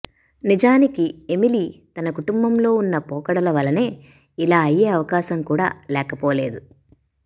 నిజానికి ఎమిలీ తన కుటుంబంలో ఉన్న పోకడల వలనే ఇలా అయ్యే అవకాశం కూడా లేకపోలేదు